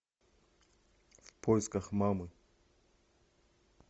в поисках мамы